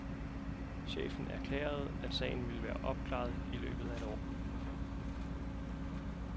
Chefen erklærede, at sagen ville være opklaret i løbet af et år.